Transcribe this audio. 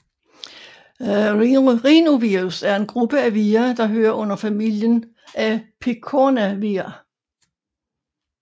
Rhinovirus er en gruppe af vira der hører under familien af picornavira